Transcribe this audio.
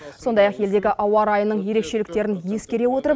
сондай ақ елдегі ауа райының ерекшеліктерін ескере отырып